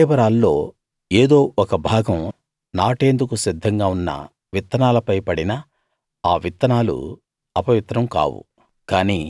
ఆ కళేబరాల్లో ఏదో ఒక భాగం నాటేందుకు సిద్ధంగా ఉన్న విత్తనాలపై పడినా ఆ విత్తనాలు అపవిత్రం కావు